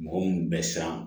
Mɔgɔ mun bɛ siran